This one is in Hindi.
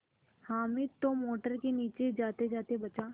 हामिद तो मोटर के नीचे जातेजाते बचा